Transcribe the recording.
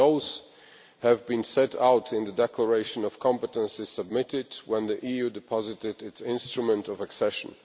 Those have been set out in the declaration of competences when the EU deposited its instrument of accession.